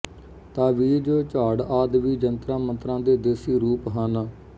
ਤਾਵੀਜ਼ ਝਾੜ ਆਦਿ ਵੀ ਜੰਤਰਾਂ ਮੰਤਰਾਂ ਦੇ ਦੇਸੀ ਰੂਪ ਹਨ